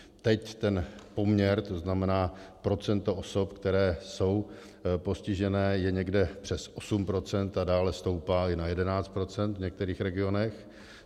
Teď ten poměr, to znamená procento osob, které jsou postižené, je někdo přes 8 % a dále stoupá i na 11 % v některých regionech.